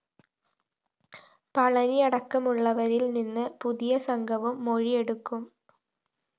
പളനിയടക്കമുള്ളവരില്‍ നിന്ന് പുതിയ സംഘവും മൊഴിയെടുക്കും